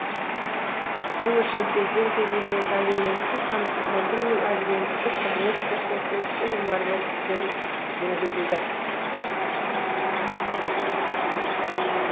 бұл үшін кезең кезеңімен әлеументтік қамсыздандыру мен әлеументтік қызмет көрсетудің нормативтері енгізілді